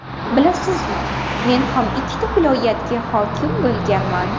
Bilasizmi, men ham ikkita viloyatga hokim bo‘lganman.